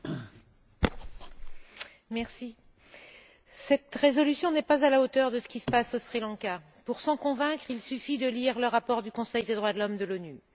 Monsieur le Président, cette résolution n'est pas à la hauteur de ce qui se passe au Sri Lanka. Pour s'en convaincre, il suffit de lire le rapport du Conseil des droits de l'homme de l'ONU.